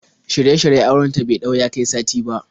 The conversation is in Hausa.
Shirye-shiryen auren ta bai ɗau ya kai sati ba.